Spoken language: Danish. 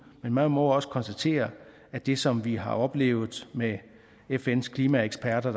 men man må også konstatere at det som vi har oplevet med fns klimaeksperter